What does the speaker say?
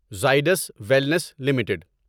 Zydus wellness limited